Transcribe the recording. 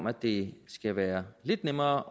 at det skal være lidt nemmere